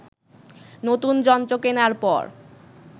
নতুন যন্ত্র কেনার পর